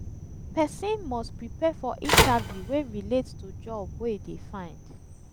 persin must prepare for interview wey relate to job wey e de find